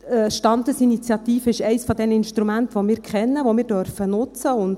Für mich ist die Standesinitiative eines der Instrumente, die wir kennen und nutzen dürfen.